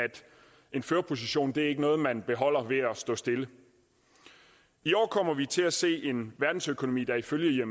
en førerposition ikke er noget man beholder ved at stå stille i år kommer vi til at se en verdensøkonomi der ifølge